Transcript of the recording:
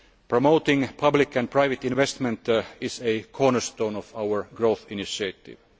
Promoting public and private investment is a cornerstone of our growth initiative.